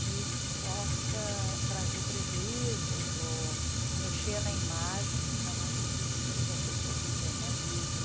que possa trazer prejuízos ou mexer na imagem que cada um tem de si, das pessoas com quem eu convivo.